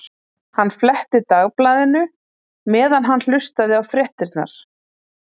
Hann fletti Dagblaðinu meðan hann hlustaði á fréttirnar.